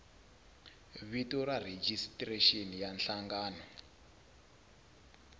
vito ra rejistrexini ya nhlangano